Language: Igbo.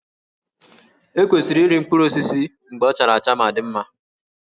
E kwesịrị iri mkpụrụ osisi mgbe ọ chara acha ma dị mma